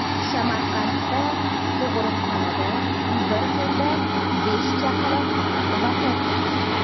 Samarqandda tug‘uruqxonada bir kunda besh chaqaloq vafot etdi.